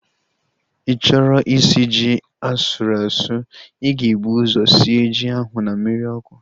Ịchọrọ isi ji asụrụ asụ, ịga ebu ụzọ sie ji ahu na mmiri ọkụ